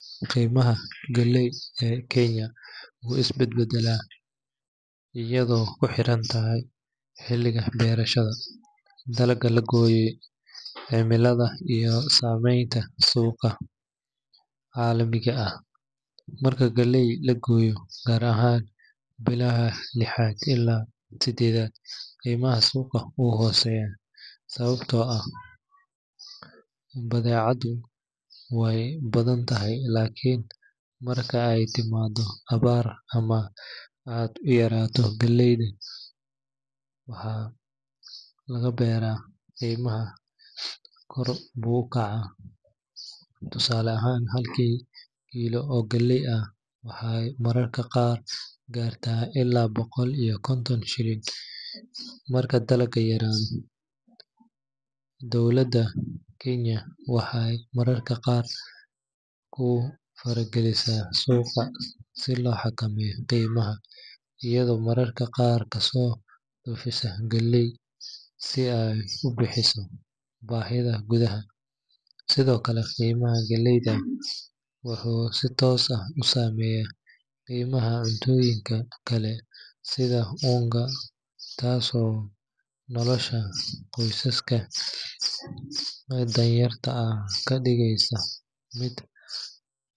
Qiimaha galleyda ee Kenya wuu isbedbedelaa iyadoo ku xiran xilliga beerashada, dalagga la gooyey, cimilada, iyo saameynta suuqa caalamiga ah. Marka galleyda la gooyo, gaar ahaan bilaha lixaad ilaa siddeedaad, qiimaha suuqa wuu hooseeyaa sababtoo ah badeecadu way badan tahay. Laakiin marka ay timaado abaar ama ay yaraato galleyda dalka laga beero, qiimuhu kor buu u kacaa. Tusaale ahaan, halkii kiilo oo galley ah waxay mararka qaar gaartaa ilaa boqol iyo konton shilin marka dalagga yaraado. Dowladda Kenya waxay mararka qaar ku faragelisaa suuqa si loo xakameeyo qiimaha, iyadoo mararka qaar kasoo dhoofisa galley si ay u buuxiso baahida gudaha. Sidoo kale, qiimaha galleyda wuxuu si toos ah u saameeyaa qiimaha cuntooyinka kale sida unga, taasoo nolosha qoysaska danyarta ah ka dhigaysa mid adag.